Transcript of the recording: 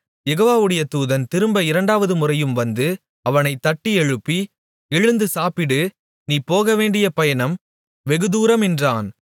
யெகோவாவுடைய தூதன் திரும்ப இரண்டாவதுமுறையும் வந்து அவனைத் தட்டியெழுப்பி எழுந்து சாப்பிடு நீ போகவேண்டிய பயணம் வெகுதூரம் என்றான்